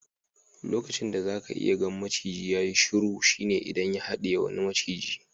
Lokacin da zaka iya gan maciji ya yi shuru shine idan ya hadiye wani maciji.